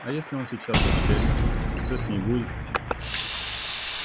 а если он сейчас застрелится что с ней будет